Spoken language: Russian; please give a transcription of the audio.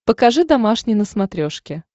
покажи домашний на смотрешке